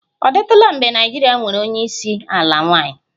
Ọ dịtụla mgbe Naịjirịa nwere onye isi ala nwanyị?